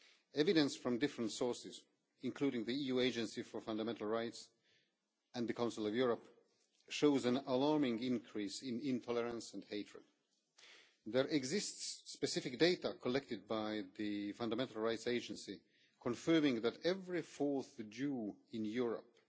Evidence from different sources, including the EU Agency for Fundamental Rights and the Council of Europe, shows an alarming increase in intolerance and hatred. There exists specific data collected by the Fundamental Rights Agency confirming that every fourth Jew in Europe